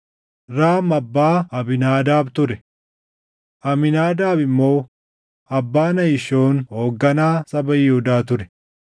Raam abbaa Abiinaadaab ture; Amiinaadaab immoo abbaa Nahishoon hoogganaa saba Yihuudaa ture.